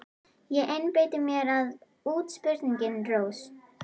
Ég einbeiti mér að útsprunginni rós.